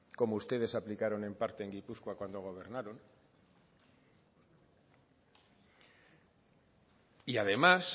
como ustedes aplicaron en parte en gipuzkoa cuando gobernaron y además